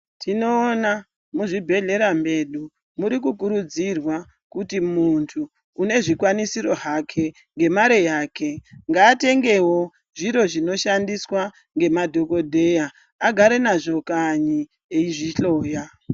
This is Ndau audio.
Tinoona muzvibhedhleya medu, muri kukurudzirwa kuti munhu une zvikwanisiro hake, ngemare yake, ngaatengewo zviro zvinoshandiswa nemadhokodheya, agare nazvo kanyi, eizvihloya.